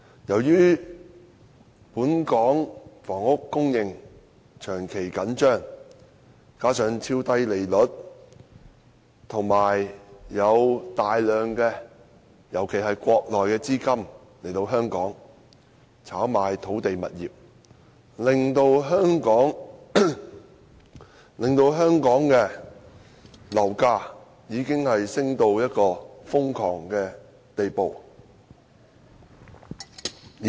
由於本港房屋供應長期緊張，加上超低利率，以及大量資金流入，尤其是國內資金來港炒賣土地物業，香港的樓價已升至瘋狂的地步。